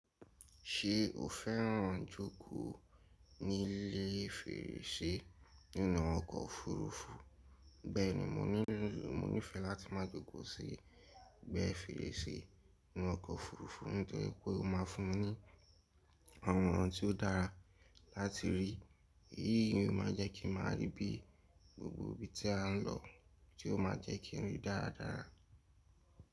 Ṣe o féràn jókòó nílé fèrèsé nínú ọkọ̀ òfurufú? Bẹ́ẹ̀ni mo nífẹẹ́ láti ma jókòó sí ègbé fèrèsé nínú ọkọ̀ òfurufú, nítori pé ó ma fún mi ní àwọn ìran tí ó dára láti rí, èyí ni ó ma jẹ́ kí n máa rí bi gbogbo ibi tí a n lọ, tí ó ma jẹ́ kí n ríi dáradára.